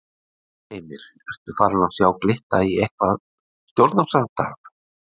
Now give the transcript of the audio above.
Heimir: Ertu farin að sjá glitta í eitthvað stjórnarsamstarf?